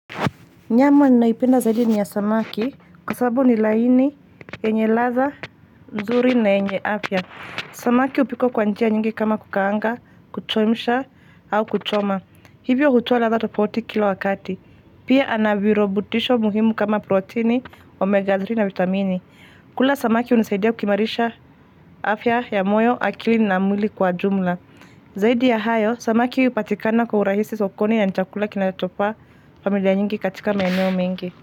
Nyama ninayoipenda zaidi ni ya samaki kwa sababu ni laini, enye ladha, nzuri na yenye afya. Samaki hupikwa kwa njia nyingi kama kukaanga, kuchemsha, au kuchoma. Hivyo hutoa ladha tofauti kila wakati. Pia anavirubutisho muhimu kama protini, omega 3 na vitamini. Kula samaki hunisaidia kuimarisha afya ya moyo akili na mwili kwa jumla. Zaidi ya hayo, sama hupatikana kwa urahisi sokoni ya ni chakula kinachofaa familia nyingi katika maeneo mengi.